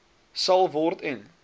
sal word en